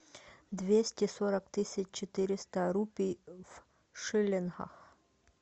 двести сорок тысяч четыреста рупий в шиллингах